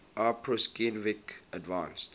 aw prusinkiewicz advanced